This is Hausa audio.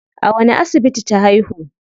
A wani asibiti ta haihu?